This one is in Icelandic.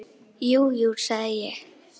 Jú, jú, sagði ég.